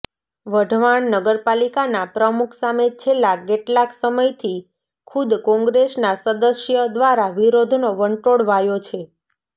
વઢવાણ નગરપાલિકાના પ્રમુખ સામે છેલ્લા કેટલાંક સમયથી ખુદ કોંગ્રેસના સદસ્ય દ્વારા વિરોધનો વંટોળ વાયો છે